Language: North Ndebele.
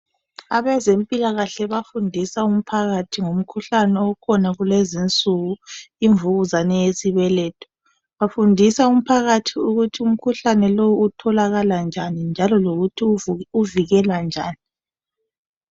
Abezempilakahle bafundisa umphakathi ngomkhuhlane okhona kulezinsuku imvukuzabe yesibwletho, bafundisa umphakathi ukuthi umkhuhlane lowu utholakala njani, njalo lokuthi uvikelwa njani.